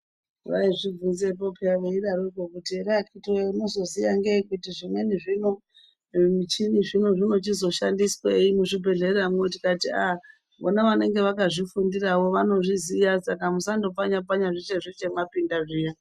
Vaizvibvenzepo pheya veidarokwo kuti here akhiti woye kuti unoziziyangei kuti zimweni zvino zvimichini zvino zvinochizoshandiswei muzvibhedhleramwo. Tikati aaa vona vanenge vakazvifundirawo vanozviziya saka musandopfanya pfanya zveshe zveshe kana mwapinda zviya.